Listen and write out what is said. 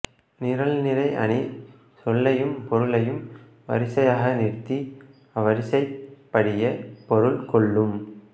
நிரல்நிறை அணி சொல்லையும் பொருளையும் வரிசையாக நிறுத்தி அவ்வரிசைப் படியே பொருள் கொள்ளும்